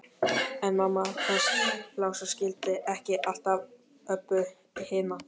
En mamma hans Lása skildi ekki alltaf Öbbu hina.